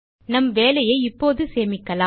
நம் வேலையை இப்போது சேமிக்கலாம்